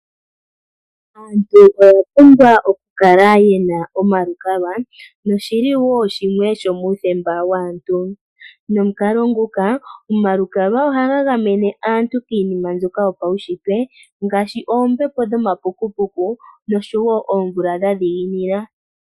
Aantu oya pumbwa okukala yena omalukalwa, noshili wo shimwe shomuuthemba waantu. Omalukalwa ohaga gamene aantu kiinima mbyoka yopaushitwe ngaashi oombepo dhomapukupuku, osho wo oomvula dha dhiginina.